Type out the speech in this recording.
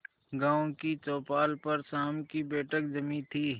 गांव की चौपाल पर शाम की बैठक जमी थी